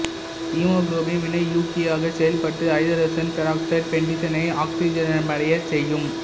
haemoglobin வினையூக்கியாகச் செயல்பட்டு ஐதரசன் பெராக்சைடு பென்சிடினை ஆக்சிஜனேற்றமடையச் செய்யும்